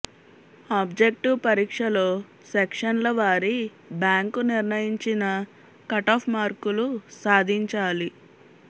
objective పరీక్షలో సెక్షన్ల వారీ బ్యాంకు నిర్ణయించిన కటాఫ్ మార్కులు సాధించాలి